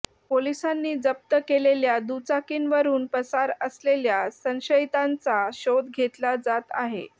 पोलिसांनी जप्त केलेल्या दुचाकींवरून पसार असलेल्या संशयितांचा शोध घेतला जात आहे